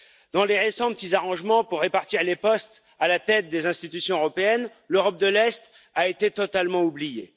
Dans les récents petits arrangements pour répartir les postes à la tête des institutions européennes, l'Europe de l'Est a été totalement oubliée.